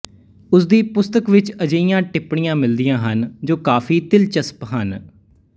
ਉਸਦੀ ਪੁਸਤਕ ਵਿੱਚ ਅਜਿਹੀਆਂ ਟਿੱਪਣੀਆਂ ਮਿਲਦੀਆਂ ਹਨ ਜੋ ਕਾਫੀ ਦਿਲਚਸਪ ਹਨ